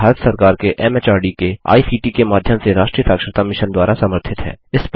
यह भारत सरकार के एमएचआरडी के आईसीटी के माध्यम से राष्ट्रीय साक्षरता मिशन द्वारा समर्थित है